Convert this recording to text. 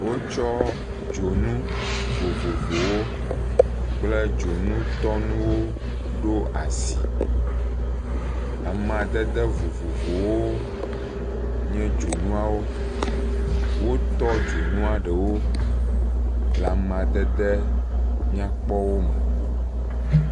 wó tsɔ dzonu vovovowo kple dzonu tɔnuwo ɖó asi amadede vovovowo nye dzonuawo wó tɔ dzoŋua ɖewo le'madede nyakpɔwo me